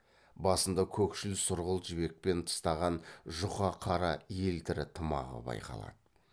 басында көкшіл сұрғылт жібекпен тыстаған жұқа қара елтірі тымағы байқалады